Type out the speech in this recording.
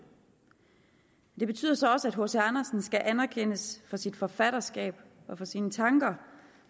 det betyder så også at hc andersen skal anerkendes for sit forfatterskab og for sine tanker